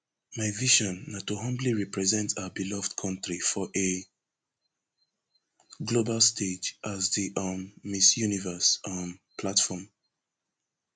my vision na to humbly represent our beloved kontri for a global stage as di um miss universe um platform